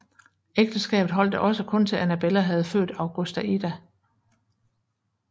Ægteskabet holdt da også kun til Annabella havde født Augusta Ada